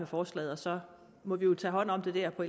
forslaget og så må vi jo tage hånd om det der på